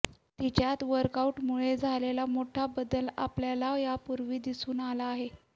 तिच्यात वर्कआऊटमुळे झालेला मोठा बदल आपल्याला यापूर्वी दिसून आला आहे